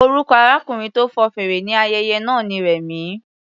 Orúkọ arákùnrin tó fọn fèrè ní ayẹyẹ náà ni Rema.